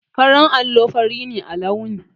Farin allo fari ne a launi.